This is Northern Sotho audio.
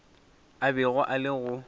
a bego a le go